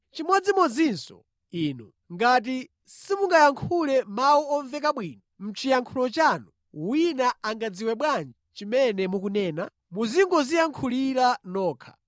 Chimodzimodzinso inu. Ngati simungayankhule mawu omveka bwino mʼchiyankhulo chanu, wina angadziwe bwanji chimene mukunena? Muzingodziyankhulira nokha.